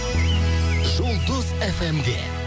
жұлдыз эф эм де